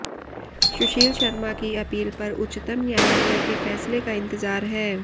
सुशील शर्मा की अपील पर उच्चतम न्यायालय के फैसले का इंतजार है